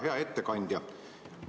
Hea ettekandja!